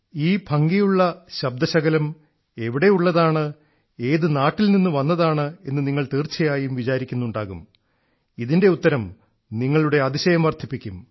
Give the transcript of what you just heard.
ഈ ഭംഗിയുള്ള ശബ്ദശകലം എവിടെയുള്ളതാണ് ഏതു നാട്ടിൽനിന്നു വന്നതാണെന്നു നിങ്ങൾ തീർച്ചയായും വിചാരിക്കുന്നുണ്ടാകും ഇതിൻറെ ഉത്തരം നിങ്ങളുടെ അതിശയം വർദ്ധിപ്പിക്കും